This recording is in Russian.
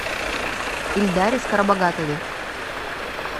ильдаре скоробогатове